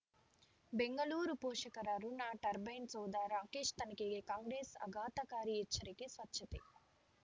ಬೆಂಗಳೂರು ಪೋಷಕರಋಣ ಟರ್ಬೈನು ಸೌಧ ರಾಕೇಶ್ ತನಿಖೆಗೆ ಕಾಂಗ್ರೆಸ್ ಆಘಾತಕಾರಿ ಎಚ್ಚರಿಕೆ ಸ್ವಚ್ಛತೆ